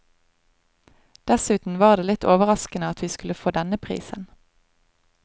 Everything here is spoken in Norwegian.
Dessuten var det litt overraskende at vi skulle få denne prisen.